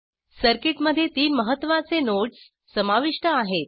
सर्किटमध्ये तीन महत्त्वाचे नोड्स समाविष्ट आहेत